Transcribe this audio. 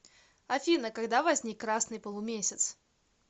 афина когда возник красный полумесяц